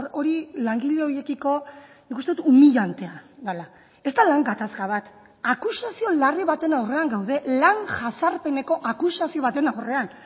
hori langile horiekiko nik uste dut humillantea dela ez da lan gatazka bat akusazio larri baten aurrean gaude lan jazarpeneko akusazio baten aurrean